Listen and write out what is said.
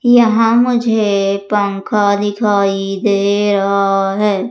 यहां मुझे पंख दिखाई दे रहा है।